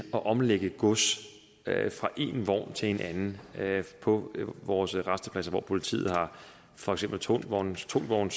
at omlade gods fra en vogn til en anden på vores rastepladser hvor politiet har for eksempel tungvognskontrol